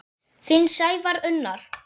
Þinn Sævar Unnar.